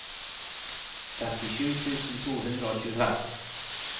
trettisju tusen to hundre og tjuefem